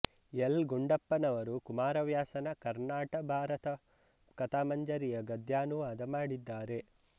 L ಗುಂಡಪ್ಪನವರು ಕುಮಾರವ್ಯಾಸನ ಕರ್ಣಾಟ ಭಾರತ ಕಥಾಮಂಜರಿಯ ಗದ್ಯಾನುವಾದ ಮಾಡಿದ್ದಾರೆ